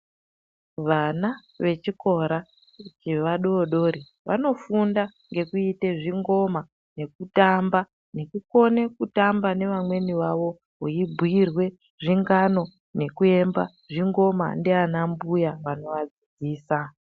Vana vechikora chevadori dori vanofunda ngekuite zvingoma, nekutamba, nekukone kutamba nevamweni vavo ,beyibuyirwe zvingano nekuimba zvingoma ndiana mbuya vanova dzidzisa.